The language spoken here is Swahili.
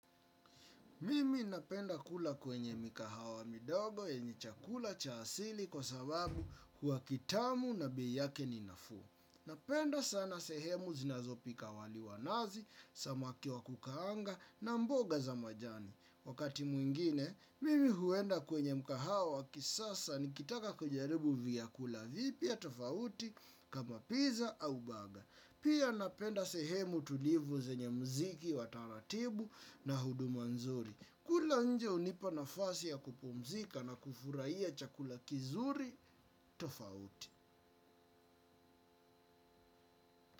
Mimi napenda kula kwenye mikahawa midogo yenye chakula cha asili kwa sababu hua kitamu na bei yake ni nafuu. Napenda sana sehemu zinazopika wali wanazi, samaki wakukaanga na mboga za majani. Wakati mwingine, mimi huenda kwenye mkahawa wa kisasa nikitaka kujaribu vyakula vipya tofauti kama pizza au baga. Pia napenda sehemu tulivu zenye mziki wa taratibu na huduma nzuri. Kula nje unipa nafasi ya kupumzika na kufurahiya chakula kizuri tofauti.